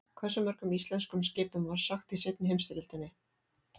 Hversu mörgum íslenskum skipum var sökkt í seinni heimsstyrjöldinni?